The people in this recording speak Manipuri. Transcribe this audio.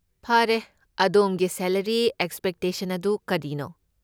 ꯐꯔꯦ, ꯑꯗꯣꯝꯒꯤ ꯁꯦꯂꯔꯤ ꯑꯦꯛꯁꯄꯦꯛꯇꯦꯁꯟ ꯑꯗꯨ ꯀꯔꯤꯅꯣ?